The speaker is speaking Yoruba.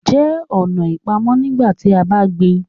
jẹ ọ̀nà ipamọ nígbàtí a bá ń gbìn